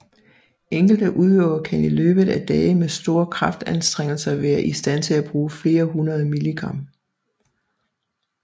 Enkelte udøvere kan i løbet af dage med store kraftanstrengelser være i stand til at bruge flere hundrede milligram